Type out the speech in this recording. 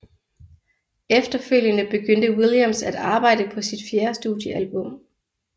Efterfølgende begyndte Williams at arbejde på sit fjerde studiealbum